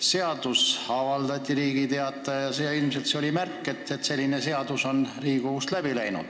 Seadus avaldati Riigi Teatajas ja ilmselt see on märk, et selline seadus on Riigikogus läbi läinud.